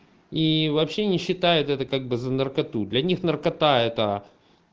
ии вообще не считает это как бы за наркоту для них наркота это